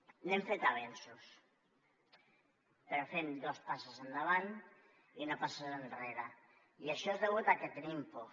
hem fet avenços però fem dos passes endavant i una passa enrere i això és degut a que tenim por